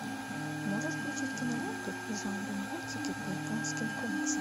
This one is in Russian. можешь включить киноленту в жанре мультики по японским комиксам